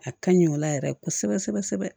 A ka ɲi o la yɛrɛ kosɛbɛ kosɛbɛ